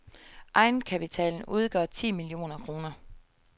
Egenkapitalen udgør ti millioner kroner.